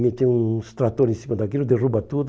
Meteu uns trator em cima daquilo, derruba tudo.